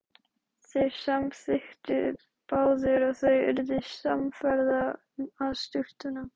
Þeir samþykktu báðir og þau urðu samferða að sturtunum.